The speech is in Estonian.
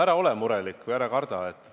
Ära ole murelik ja ära karda!